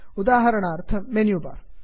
उदाहरणार्थं menu bar